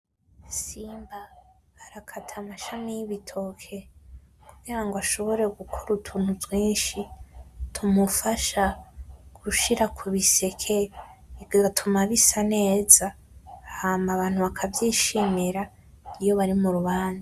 Simba arakata amashami y'ibitoke kugira ngo ashobore gukora utuntu twinshi tumufasha gushira kubiseke, bigatuma bisa neza hama abantu bakavyishimira iyo bari murubanza.